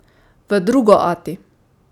V drugo ati!